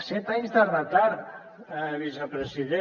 set anys de retard vicepresident